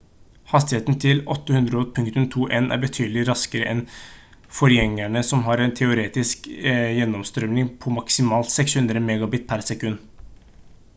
hastigheten til 802.11n er betydelig raskere enn forgjengerne som har en teoretisk gjennomstrømning på maksimalt 600mbit/s